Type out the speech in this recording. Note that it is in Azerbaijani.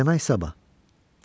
Deməli, sabah.